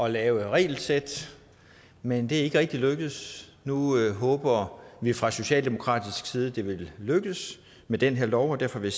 at lave et regelsæt men det er ikke rigtig lykkedes nu håber vi fra socialdemokratisk side at det vil lykkes med den her lov og derfor vil